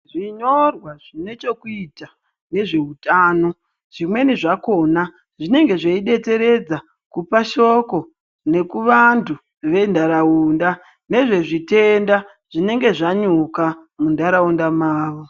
Zvinyorwa zvinechekuita nezveutano zvimweni zvakona zvinenge zveibetseredza kupashoko nekuvantu ventaraunda. Nezvezvitenda zvinenge zvanyuka muntaraunda mavo.